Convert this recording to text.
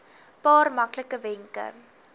paar maklike wenke